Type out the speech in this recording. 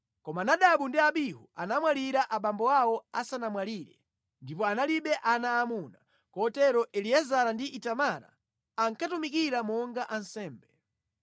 Koma Nadabu ndi Abihu anamwalira abambo awo asanamwalire, ndipo analibe ana aamuna. Kotero Eliezara ndi Itamara ankatumikira monga ansembe.